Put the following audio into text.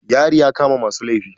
Yari ya kama masu laifi.